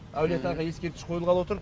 әулие атаға ескерткіш қойылғалы отыр